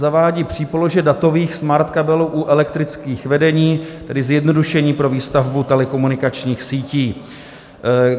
Zavádí přípolože datových smartkabelů u elektrických vedení, tedy zjednodušení pro výstavbu telekomunikačních sítí.